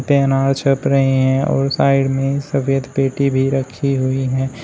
बैनार छप रहे हैं और साइड में सफेद पेटी भी रखी हुई है।